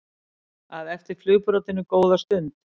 að eftir flugbrautinni góða stund.